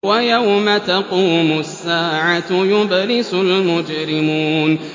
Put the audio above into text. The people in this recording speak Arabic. وَيَوْمَ تَقُومُ السَّاعَةُ يُبْلِسُ الْمُجْرِمُونَ